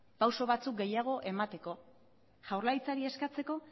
pausu batzuk gehiago emateko jaurlaritzari eskatzeko